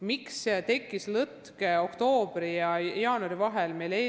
Miks tekkis lõtk oktoobri ja jaanuari vahele?